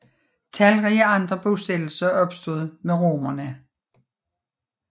Talrige andre bosættelser opstod med romerne